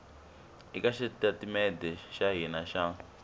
eka xitatimede xa hina xa